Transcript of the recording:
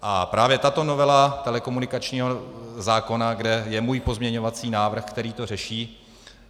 A právě tato novela telekomunikačního zákona, kde je můj pozměňovací návrh, který to řeší.